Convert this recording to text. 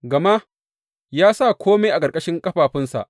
Gama ya sa kome a ƙarƙashin ƙafafunsa.